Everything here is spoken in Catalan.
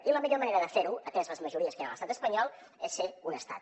i la millor manera de fer ho ateses les majories que hi han a l’estat espanyol és ser un estat